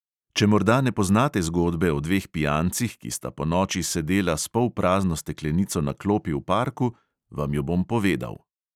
Če morda ne poznate zgodbe o dveh pijancih, ki sta ponoči sedela s polprazno steklenico na klopi v parku, vam jo bom povedal.